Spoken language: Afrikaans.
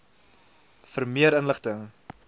vir meer inligting